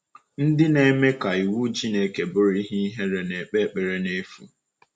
Ndị na-eme ka iwu Chineke bụrụ ihe ihere na-ekpe ekpere n’efu.